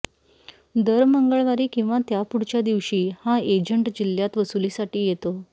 दर मंगळवारी किंवा त्या पुढच्या दिवशी हा एजंट जिल्हय़ात वसुलीसाठी येतो